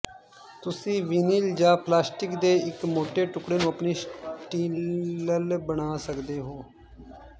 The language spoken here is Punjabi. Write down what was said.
ਤੁਸੀਂ ਵਿਨਿਲ ਜਾਂ ਪਲਾਸਟਿਕ ਦੇ ਇੱਕ ਮੋਟੇ ਟੁਕੜੇ ਨੂੰ ਆਪਣੀ ਸਟੀਲਲ ਬਣਾ ਸਕਦੇ ਹੋ